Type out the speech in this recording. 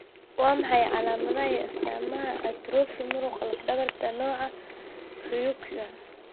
Waa maxay calaamadaha iyo astaamaha atrophy muruqa laf dhabarta nooca Ryukyuan?